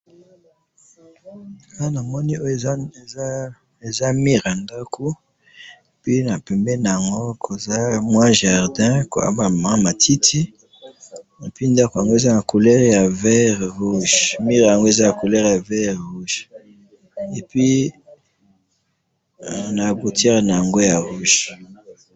awa namoni oyo eza mur ya ndako, pe na pembeni yango eza jardin, na matiti et puis ndako yango eza na couleur ya vert rouge, mur yango eza na couleur ya vert rouge, et puis na portiere yango ya rouge